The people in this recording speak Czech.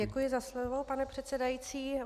Děkuji za slovo, pane předsedající.